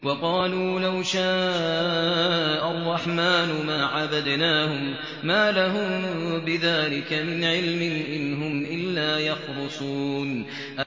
وَقَالُوا لَوْ شَاءَ الرَّحْمَٰنُ مَا عَبَدْنَاهُم ۗ مَّا لَهُم بِذَٰلِكَ مِنْ عِلْمٍ ۖ إِنْ هُمْ إِلَّا يَخْرُصُونَ